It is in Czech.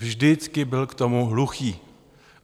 Vždycky byl k tomu hluchý.